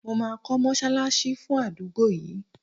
Mo ma ko mosalasi fun adugbo yii